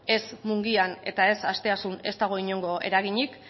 ez mungian eta ez asteasun ez dago inongo eraginik